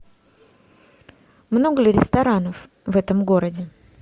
много ли ресторанов в этом городе